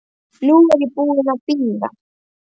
Nú er ég búin að bíða.